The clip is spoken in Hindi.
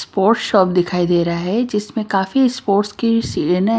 स्पोर्श शॉप दिखाई दे रहा है जिसमें काफी स्पोर्ट्स की --